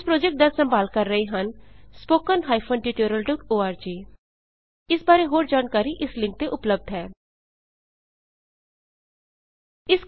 ਇਸ ਪ੍ਰੌਜੈਕਟ ਦਾ ਸੰਭਾਲ ਕਰ ਰਹੇ ਹੱਨ httpspoken tutorialorg ਇਸ ਬਾਰੇ ਹੋਰ ਜਾਣਕਾਰੀ ਇਸ ਲਿੰਕ ਤੇ ਉਪਲਭਧ ਹੈ httpspoken tutorialorgNMEICT Intro